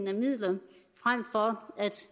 af midler frem for at